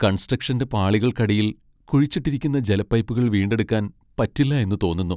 കൺസ്ട്രക്ഷന്റെ പാളികൾക്കടിയിൽ കുഴിച്ചിട്ടിരിക്കുന്ന ജല പൈപ്പുകൾ വീണ്ടെടുക്കാൻ പറ്റില്ല എന്ന് തോന്നുന്നു.